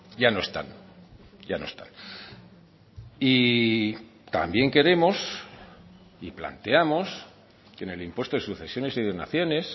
ya no están ya no están y también queremos y planteamos que en el impuesto de sucesiones y donaciones